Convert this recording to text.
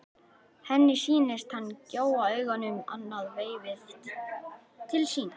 Henni sýnist hann gjóa augunum annað veifið til sín.